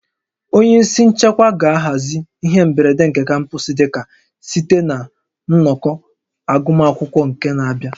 Onye isi nchekwa ga-ahazi ihe mberede nke kampọs dịka site na nnọkọ agụmakwụkwọ nke n'abịa